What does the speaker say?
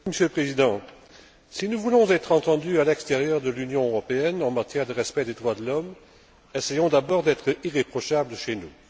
Monsieur le Président, si nous voulons être entendus à l'extérieur de l'Union européenne en matière de respect des droits de l'homme, essayons d'abord d'être irréprochables chez nous.